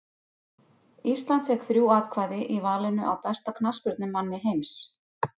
Ísland fékk þrjú atkvæði í valinu á besta knattspyrnumanni heims.